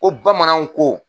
Ko bamananw ko.